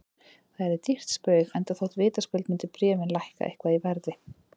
Það yrði dýrt spaug, enda þótt vitaskuld myndu bréfin lækka eitthvað í verði.